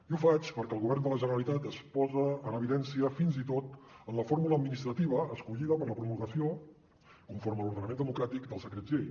i ho faig perquè el govern de la generalitat es posa en evidència fins i tot en la fórmula administrativa escollida per a la promulgació conforme a l’ordenament democràtic dels decrets llei